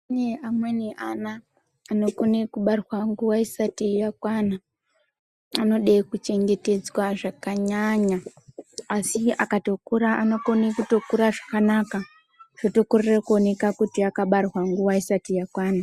Kune amweni ana anokone kubarwa nguwa isati yakwana anode kuchengetedzwa zvakanyanya asi akatokura anokone kutokura zvakanaka zvotokorere kuoneka kuti akabarwa nguwa isati yakwana.